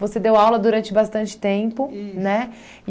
Você deu aula durante bastante tempo, né?